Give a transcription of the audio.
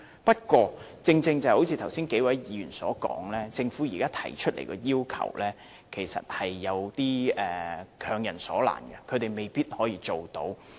不過，正如剛才數位議員所說，政府現時提出的要求是有點強人所難，他們未必辦得到。